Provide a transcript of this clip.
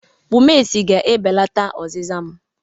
Bumesi ga-ebelata ọzịza m.